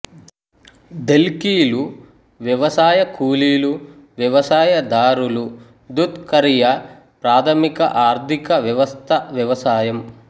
ధెల్కిలు వ్యవసాయ కూలీలు వ్యవసాయదారులు దుధ్ ఖరియా ప్రాధమిక ఆర్థిక వ్యవస్థ వ్యవసాయం